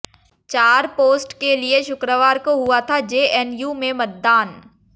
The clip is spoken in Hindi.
चार पोस्ट के लिए शुक्रवार को हुआ था जेएनयू में मतदान